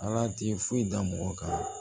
Ala tɛ foyi da mɔgɔ kan